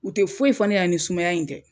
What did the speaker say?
U te foyi fɔ ne ɲɛnɛ ni sumaya in tɛ